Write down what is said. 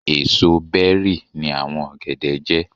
Èsò bẹ́rì ni àwọn ọ̀gẹ̀dẹ̀ jẹ́.